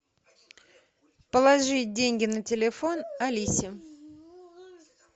положить деньги на телефон алисе